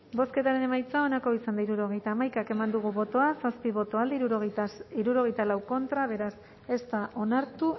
bozketaren emaitza onako izan da hirurogeita hamaika eman dugu bozka zazpi boto alde sesenta y cuatro contra beraz ez da onartu